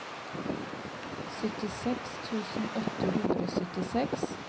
syttiseks tusen åtte hundre og syttiseks